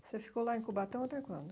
Você ficou lá em Cubatão até quando?